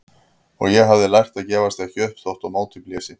Og ég hafði lært að gefast ekki upp þótt á móti blési.